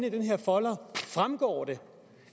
i den her folder fremgår det